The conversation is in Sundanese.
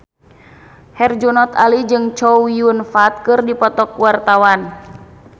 Herjunot Ali jeung Chow Yun Fat keur dipoto ku wartawan